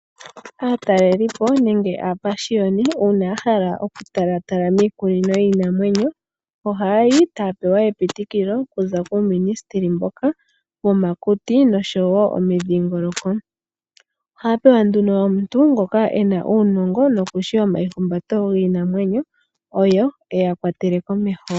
Aatalelipo nenge aapashiyoni, uuna yahala okutalatala miikunino yiiinamwenyo, ohayayi taya pewa epitikilo okuza kuuministeli mboka womakuti noshowo omidhingoloko. Ohaya pewa nduno omuntu, ngoka e na uunongo nokushi omaihumbato giinamwenyo, opo eya kwatele komeho.